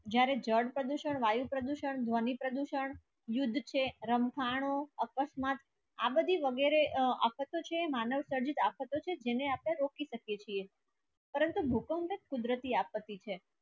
જ્યારે જળ પ્રદૂષણ વાયુ પ્રદૂષણ ધ્વનિ પ્રદૂષણ યુદ્ધ છે રમખાનું આકશ માટ આ વધી વગેરે આફતો છે માનવસર્જિત આફતો છે જેને આપણે રોકો શકીએ છીએ પરંતુ ભૂકંપ ઍક કુદરતી આપતી છે